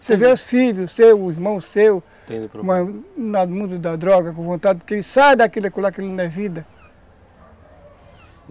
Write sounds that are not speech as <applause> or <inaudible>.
Você vê os filhos seus, os irmãos seus, <unintelligible> no mundo da droga, com vontade que ele saia daquilo, que aquilo não é vida.